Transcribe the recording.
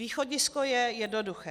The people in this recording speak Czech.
Východisko je jednoduché.